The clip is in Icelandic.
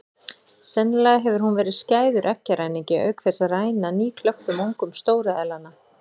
Sennilega hefur hún verið skæður eggjaræningi auk þess að ræna nýklöktum ungum stóru eðlanna.